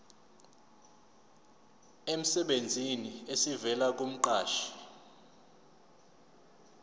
emsebenzini esivela kumqashi